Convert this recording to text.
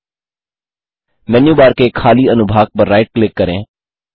मेनू bar के खाली अनुभाग पर राइट क्लिक करें